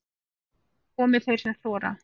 Komi þeir sem þora